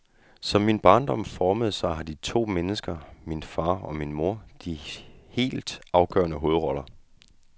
Som min barndom formede sig har de to mennesker, min far og min mor, de helt afgørende hovedroller.